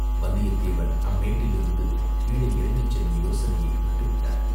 வந்தியத்தேவன் அம்மேட்டிலிருந்து கீழே இறங்கிச் செல்லும் யோசனையை விட்டுவிட்டான்.